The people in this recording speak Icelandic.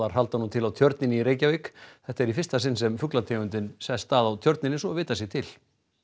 halda nú til á Tjörninni í Reykjavík þetta er í fyrsta sinn sem sest að á Tjörninni svo vitað sé til